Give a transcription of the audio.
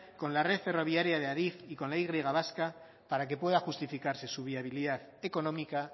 con la red ferroviaria de adif y con la y vasca para que pueda justificarse su viabilidad económica